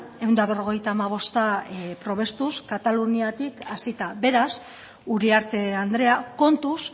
ehun eta berrogeita hamabosta probestuz kataluniatik hasita beraz uriarte andrea kontuz